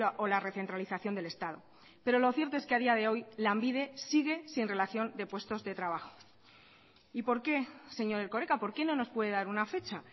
o la recentralización del estado pero lo cierto es que a día de hoy lanbide sigue sin relación de puestos de trabajo y porque señor erkoreka por qué no nos puede dar una fecha